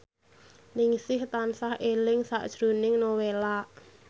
Ningsih tansah eling sakjroning Nowela